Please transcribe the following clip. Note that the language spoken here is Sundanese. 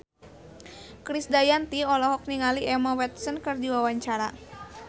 Krisdayanti olohok ningali Emma Watson keur diwawancara